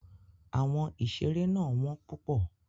Àwọn ìṣeré náà wọ́n púpọ̀.